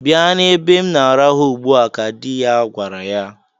"Bịa n'ebe m na-arahụ ugbua!" ka dị ya gwara ya.